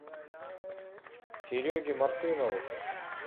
сереге мартынову